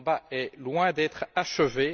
Le combat est loin d'être achevé.